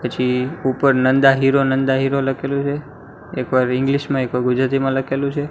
પછી ઉપર Nanda hero Nanda hero લખેલુ છે એક વાર ઈંગ્લીશ મા એક વાર ગુજરાતીમાં લખેલુ છે.